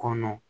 Kɔnɔ